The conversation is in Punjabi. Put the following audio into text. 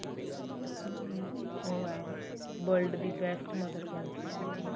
ਹਮ ਉਹ ਹੈ world ਦੀ best mother ਬਣ ਸਕਦੀ ਹੈ